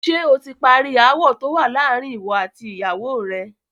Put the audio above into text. Ṣẹ oti parí ááwò tówà láàárín ìwọ àti ìyàwó rẹ?